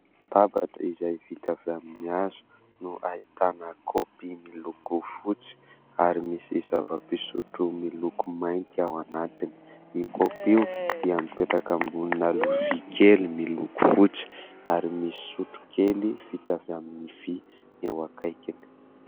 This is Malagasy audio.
Latabatra izay vita avy amin'ny hazo no ahitana kopy miloko fotsy, ary misy zavam-pisotro miloko mainty ao anatiny. Io kopy io dia mipetraka ambonina lovia kely miloko fotsy, ary misy sotro kely fita avy amin'ny vy eo akaikiny.